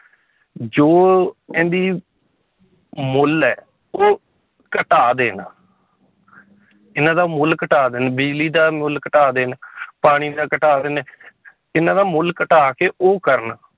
ਜੋ ਇਹਦੀ ਮੁੱਲ ਹੈ ਉਹ ਘਟਾ ਦੇਣ ਇਹਨਾਂ ਦਾ ਮੁੱਲ ਘਟਾ ਦੇਣ ਬਿਜ਼ਲੀ ਦਾ ਮੁੱਲ ਘਟਾ ਦੇਣ ਪਾਣੀ ਦਾ ਘਟਾ ਦੇਣ ਇਹਨਾਂ ਦਾ ਮੁੱਲ ਘਟਾ ਕੇ ਉਹ ਕਰਨ